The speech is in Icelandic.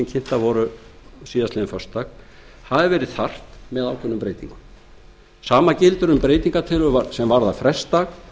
mynd með ákveðnum breytingum kunni að hafa verið þarft sama gildir um breytingartillögur varðandi svonefndan frestdag